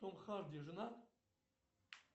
том харди женат